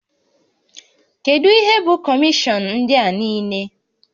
Kedu ihe bụ kọmishọn ndị a niile?